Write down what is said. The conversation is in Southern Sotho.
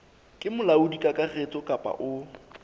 ke molaodi kakaretso kapa o